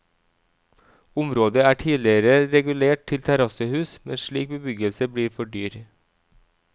Området er tidligere regulert til terrassehus, men slik bebyggelse blir for dyr.